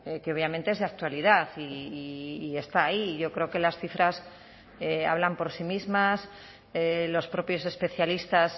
que obviamente es de actualidad y está ahí y yo creo que las cifras hablan por sí mismas los propios especialistas